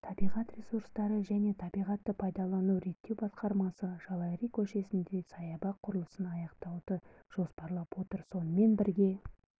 табиғат ресурстары және табиғат пайдалануды реттеу басқармасы жалайри көшесінде саябақ құрылысын аяқтауды жоспарлап отыр сонымен бірге